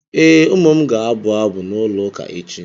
Ee, ụmụ m ga-abụ abụ n'ụlọụka echi.